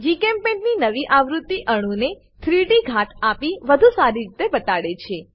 જીચેમ્પેઇન્ટ ની નવી આવૃત્તિ અણુને 3ડી ઘાટ આપી વધુ સારી રીતે બતાડે છે